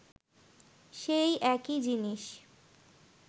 সেই একই জিনিস